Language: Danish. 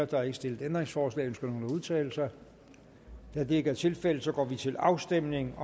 der er ikke stillet ændringsforslag ønsker nogen at udtale sig da det ikke er tilfældet går vi til afstemning